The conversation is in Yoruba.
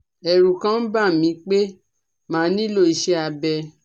Ẹ̀rù kàn ń bà mí pé màá nílò iṣé abẹ